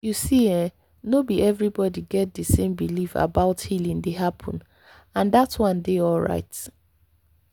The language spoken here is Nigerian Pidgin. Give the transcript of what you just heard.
you see[um]no be everybody get the same belief about how healing dey happen—and that one dey alright.